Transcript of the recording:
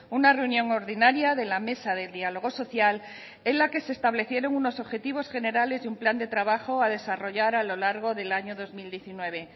una reunión ordinaria de la mesa de diálogo social en la que se establecieron unos objetivos generales y un plan de trabajo a desarrollar a lo largo del año dos mil diecinueve